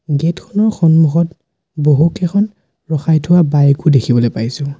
গেটখনৰ সন্মুখত বহুকেইখন ৰখাই থোৱা বাইক ও দেখিবলৈ পাইছোঁ।